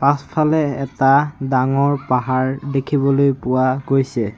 পাছফালে এটা ডাঙৰ পাহাৰ দেখিবলৈ পোৱা গৈছে।